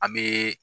An bɛ